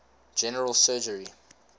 general surgery